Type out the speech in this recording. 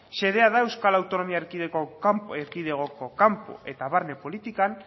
xedea da euskal autonomia erkidegoko kanpo eta barne politikan